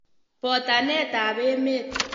Botanetab emet.